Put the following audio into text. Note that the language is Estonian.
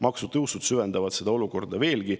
" Maksutõusud süvendavad seda olukorda veelgi.